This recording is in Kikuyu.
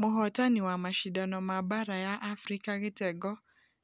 Mũhotani wa mashidano ma baara ya africa gĩtengo